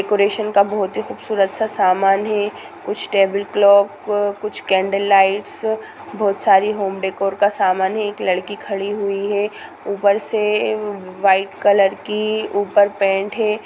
Decoration का बहुत ही खूबसूरत सा सामान है कुछ टेबल क्लाक कुछ कैंडल लाइट बहुत सारे होम डेकोर का समान है एक लड़की खड़ी हुई है ऊपर से वाइट कलर की ऊपर पेंट है।